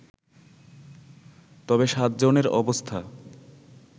তবে সাতজনের অবস্থা